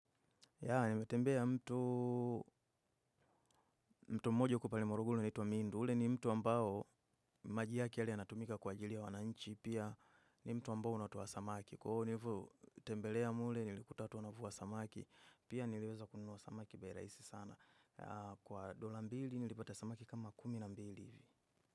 Ya, nimetembea mto mto mmoja huko palimorugulu unaitwa Mindu. Ule ni mto ambao maji yake li ya natumika kwa jili ya wananchi. Pia ni mto ambao unatoa samaki. Nilivo tembelea mule nilikuta watu wanavua samaki. Pia nileweza kununua samaki bei raisi sana. Kwa dola mbili nilipata samaki kama kumi na mbili.